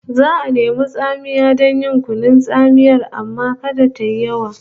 Za'a nemi tsamiya don yin kunun tsamiyar amma kada tayi yawa